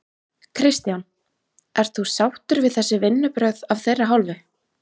Kristján: Ert þú sáttur við þessi vinnubrögð af þeirra hálfu?